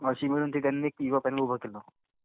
अशे मिळून ते त्यांनी एक युवा पॅनल उभं केलं.